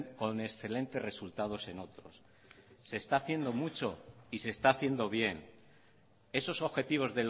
con excelentes resultados en otros se está haciendo mucho y se está haciendo bien esos objetivos